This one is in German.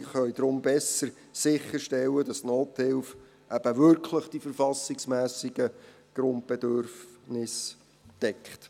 Sachleistungen können daher besser sicherstellen, dass Nothilfe eben wirklich die verfassungsmässigen Grundbedürfnisse deckt.